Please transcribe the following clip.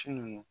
Su ninnu